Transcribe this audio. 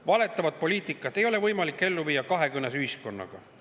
Valetavat poliitikat ei ole võimalik ellu viia kahekõnes ühiskonnaga.